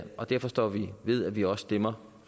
og derfor står vi ved at vi også stemmer